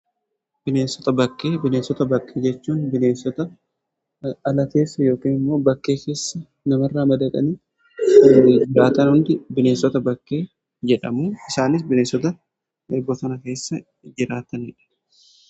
bineensota bakkee jechuun bineensota ala keessa yookiin immoo bakkee keessa nama irraa madaqanii jiraatan hundi bineensota bakkee jedhamu isaanis bineensota bosonaa keessa jiraataniidha.